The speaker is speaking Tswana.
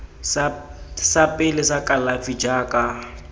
sa pele sa kalafi jaaka